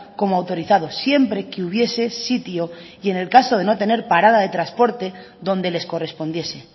como autorizados siempre que hubiese sitio y en el caso de no tener parada de transporte donde les correspondiese